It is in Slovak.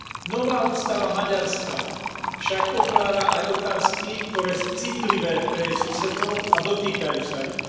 Nová ústava Maďarska však otvára aj otázky, ktoré sú citlivé pre jej susedov a dotýkajú sa ich.